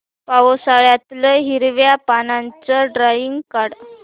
पावसाळ्यातलं हिरव्या पानाचं ड्रॉइंग काढ